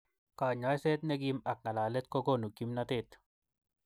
kanyoiset nekim ak ngalalet kokonu kimnotet.